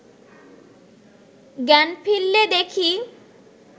জ্ঞান ফিরলে দেখি